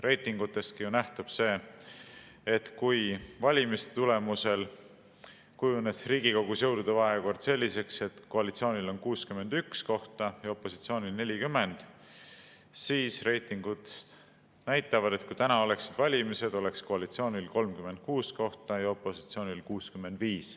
Reitingutestki nähtub see, et kui valimiste tulemusel kujunes Riigikogus jõudude vahekord selliseks, et koalitsioonil on 61 kohta ja opositsioonil 40, siis kui täna oleksid valimised, oleks koalitsioonil 36 kohta ja opositsioonil 65.